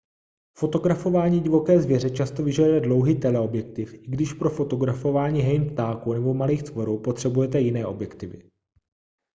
fotografování divoké zvěře často vyžaduje dlouhý teleobjektiv i když pro fotografování hejn ptáků nebo malých tvorů potřebujete jiné objektivy